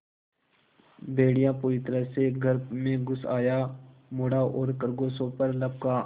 भेड़िया पूरी तरह से घर में घुस आया मुड़ा और खरगोशों पर लपका